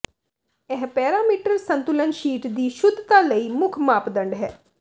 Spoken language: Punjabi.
ਇਹ ਪੈਰਾਮੀਟਰ ਸੰਤੁਲਨ ਸ਼ੀਟ ਦੀ ਸ਼ੁਧਤਾ ਲਈ ਮੁੱਖ ਮਾਪਦੰਡ ਹੈ